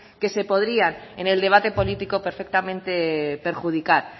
que se podría en el debate político perfectamente perjudicar